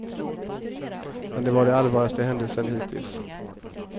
Men det var det allvarligaste händelsen hittills.